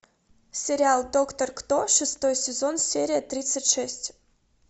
сериал доктор кто шестой сезон серия тридцать шесть